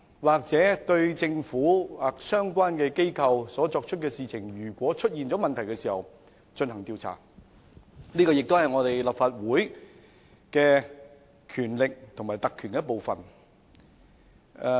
因政府或相關機構做的事情出現了問題而進行調查，是立法會的權力及特權的一部分。